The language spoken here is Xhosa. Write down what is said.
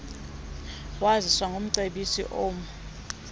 waziswa ngumcebisi emou